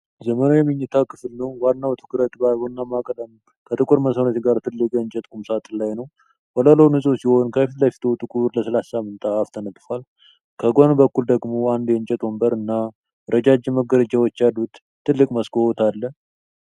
ዘመናዊ መኝታ ክፍል ነው። ዋናው ትኩረት በቡናማ ቀለም ከጥቁር መስመሮች ጋር ትልቅ የእንጨት ቁምሳጥን ላይ ነው። ወለሉ ንጹሕ ሲሆን ከፊት ለፊቱ ጥቁር ለስላሳ ምንጣፍ ተነጥፏል። ከጎን በኩል ደግሞ አንድ የእንጨት ወንበር እና ረጃጅም መጋረጃዎች ያሉት ትልቅ መስኮት አለ።